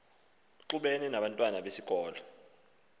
ixubene nabantwana besikolo